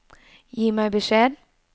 Gi meg beskjed